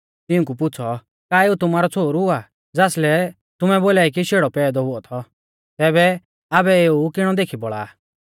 तिऊंकु पुछ़ौ का एऊ तुमारौ छ़ोहरु आ ज़ासलै तुमै बोलाई कि शेड़ौ पैदौ हुऔ थौ तैबै आबै एऊ किणौ देखी बौल़ा आ